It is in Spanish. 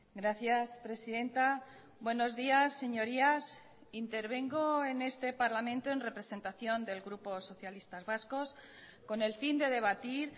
gracias presidenta buenos días señorías intervengo en este parlamento en representación del grupo socialistas vascos con el fin de debatir